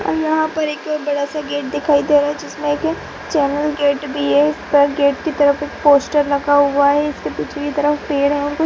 यहाँ पर एक बड़ा सा गेट दिखाई दे रहा है जिसमे एक चैनल गेट भी है गेट के तरफ एक पोस्टर लगा हुआ है इसके पीछे के तरफ पेड़ है --